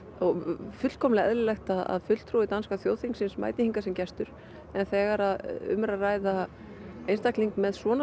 og fullkomlega eðlilegt að fulltrúi danska þjóðþingsins mæti hérna sem gestur en þegar um er að ræða einstakling með svona